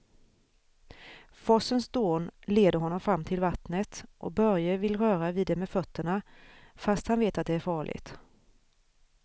Forsens dån leder honom fram till vattnet och Börje vill röra vid det med fötterna, fast han vet att det är farligt.